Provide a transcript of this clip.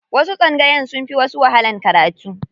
Wasu tsangayoyin sun fi wasu wahalan karatu.